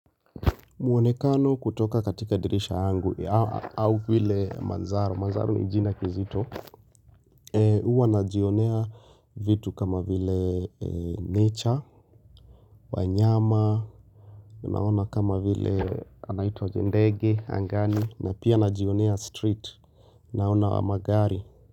Mwonekano kutoka katika dirisha yangu au vile manzaro, manzaro ni jina kizito, huwa najionea vitu kama vile nature, wanyama, naona kama vile anaitwa jindegi, angani, na pia najionea street, naona magari.